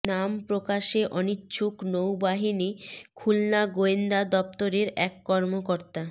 নাম প্রকাশে অনিচ্ছুক নৌবাহিনী খুলনা গোয়েন্দা দপ্তরের এক কর্মকর্তা